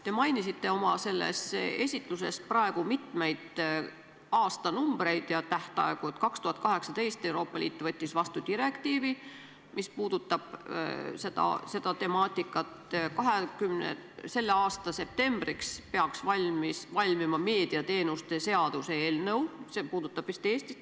Te mainisite oma esitluses praegu mitmeid aastanumbreid ja tähtaegu: 2018 Euroopa Liit võttis vastu direktiivi, mis puudutab seda temaatikat, selle aasta septembriks peaks valmima meediateenuste seaduse eelnõu .